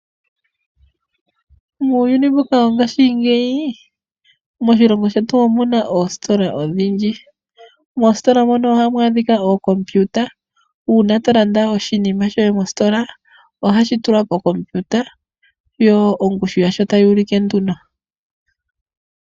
Moyuni mbuka wongashingeyi moshilongo shetu omuna ostola odhindji mostola mono ohamu adhika okompiuta uuna tolanda oshinima shoye mostola ohashi tulwa kokompiuta yo ongushu yasho tayuluke nduno.